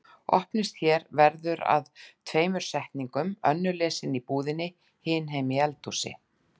Opnist hér verður að tveimur setningum, önnur lesin í búðinni, hin heima í eldhúsi.